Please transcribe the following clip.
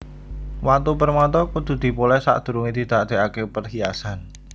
Watu permata kudu dipolès sadurungé didadèkaké perhiasan